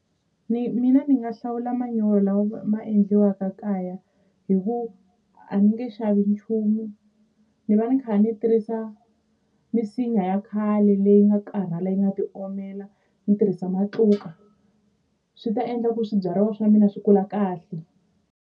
Mina ni nga hlawula manyoro lawa ma endliwaka kaya hi ku a ni nge xavi nchumu ni va ni kha ni tirhisa misinya ya khale leyi nga karhala yi nga ti omela ni tirhisa matluka swi ta endla ku swibyariwa swa mina swi kula kahle.